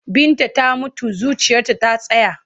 Binta ta mutu zuciyarta ta tsaya.